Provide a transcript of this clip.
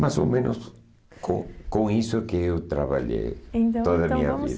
Mais ou menos com com isso que eu trabalhei toda a minha vida. Então, então vamos